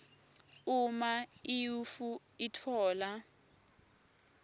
uma iuif itfola